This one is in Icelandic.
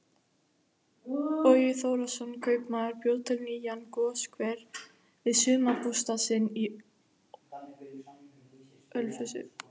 Bogi Þórðarson kaupmaður bjó til nýjan goshver við sumarbústað sinn í Ölfusi.